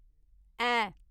ऐ